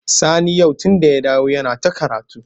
Sani yau tunda ya dawo yana ta karatu.